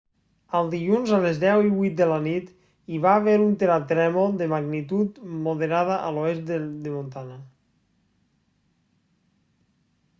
el dilluns a les 10:08 de la nit hi va haver un terratrèmol de magnitud moderada a l'oest de montana